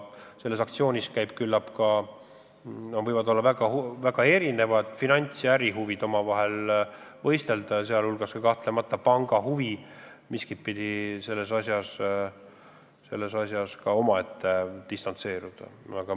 Küllap võistlevad kogu aktsioonis omavahel väga erinevad finants- ja muud ärihuvid ning kahtlemata on panga huvi miskitpidi kõigest distantseeruda.